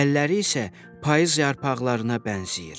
Əlləri isə payız yarpaqlarına bənzəyir.